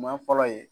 Maa fɔlɔ ye